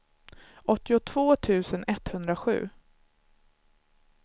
åttiotvå tusen etthundrasju